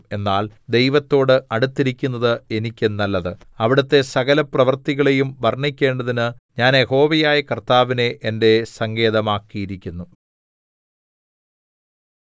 എന്നാൽ ദൈവത്തോട് അടുത്തിരിക്കുന്നത് എനിക്ക് നല്ലത് അവിടുത്തെ സകലപ്രവൃത്തികളെയും വർണ്ണിക്കേണ്ടതിന് ഞാൻ യഹോവയായ കർത്താവിനെ എന്റെ സങ്കേതമാക്കിയിരിക്കുന്നു